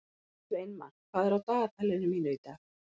Sveinmar, hvað er á dagatalinu mínu í dag?